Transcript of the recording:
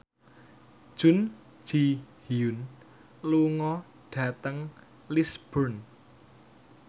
Jun Ji Hyun lunga dhateng Lisburn